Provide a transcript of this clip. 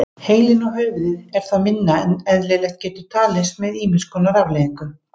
Heilinn og höfuðið er þá minna en eðlilegt getur talist með ýmis konar afleiðingum.